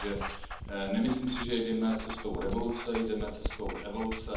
Takže nemyslím si, že jdeme cestou revoluce, jdeme cestou evoluce.